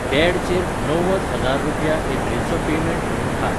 डॅडचेर णव्वद हजार रुपया एप्रिल चो पेमेंट म्हुणून धाड.